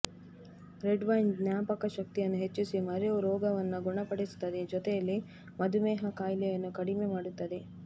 red wine ಜ್ಞಾಪಕ ಶಕ್ತಿಯನ್ನು ಹೆಚ್ಚಿಸಿ ಮರೆವು ರೋಗವನ್ನ ಗುಣಪಡಿಸುತ್ತದೆ ಜೊತೆಯಲ್ಲಿ ಮಧುಮೇಹ ಕಾಯಿಲೆಯನ್ನು ಕಡಿಮೆ ಮಾಡುತ್ತದೆ